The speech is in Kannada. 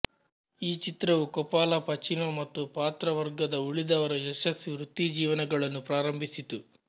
ಈ ಚಿತ್ರವು ಕೋಪಲಾ ಪಚೀನೊ ಮತ್ತು ಪಾತ್ರವರ್ಗದ ಉಳಿದವರ ಯಶಸ್ವಿ ವೃತ್ತಿಜೀವನಗಳನ್ನು ಪ್ರಾರಂಭಿಸಿತು